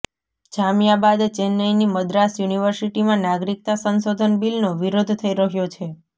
જામિયા બાદ ચેન્નઈની મદ્રાસ યૂનિવર્સિટીમાં નાગરિકતા સંશોધન બિલનો વિરોધ થઈ રહ્યો છે